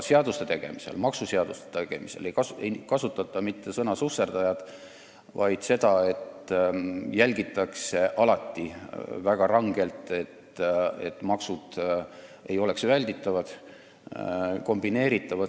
Maksuseaduste tegemisel ei kasutata sõna "susserdajad", sest alati jälgitakse väga rangelt, et maksud ei oleks välditavad ega kombineeritavad.